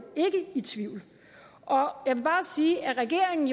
ikke i tvivl og jeg vil bare sige at regeringen